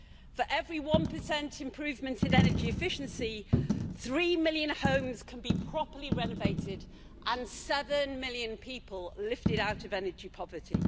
For every 1 improvement in energy efficiency, three million homes can be properly renovated and seven million people lifted out of energy poverty.